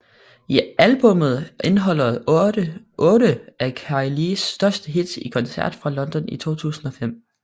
Albummet indeholder otte af Kylies største hits i koncert fra London i 2005